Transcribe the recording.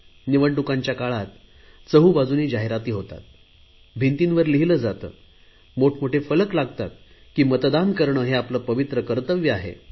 निवडणूकांच्या वेळेला चहुबाजूला जाहिराती होतात भिंतींवर लिहिले जाते मोठ मोठे फलक लागतात की मतदान करणे हे आपले पवित्र कर्तव्य आहे